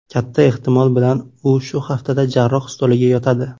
Katta ehtimol bilan u shu haftada jarroh stoliga yotadi.